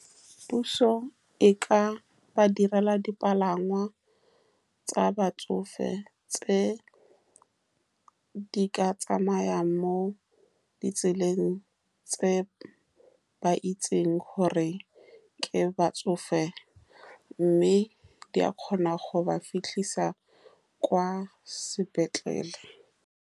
Puso e ka ba direla dipalangwa tsa batsofe, tse di ka tsamayang mo ditseleng tse ba itseng gore ke batsofe, mme di a kgona go ba fitlhisa kwa sepetlele.